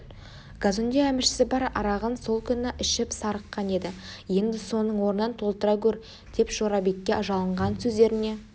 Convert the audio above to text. казонде әміршісі бар арағын сол күні ішіп сарыққан еді енді соның орнын толтыра гөр деп жорабекке жалынған сөздеріне